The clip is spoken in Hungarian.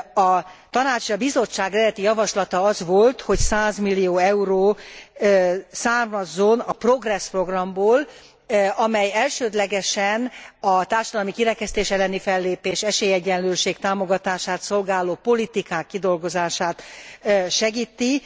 A Tanács és a Bizottság eredeti javaslata az volt, hogy 100 millió euró származzon a Progress programból, amely elsődlegesen a társadalmi kirekesztés elleni fellépést, esélyegyenlőség támogatását szolgáló politikák kidolgozását segíti.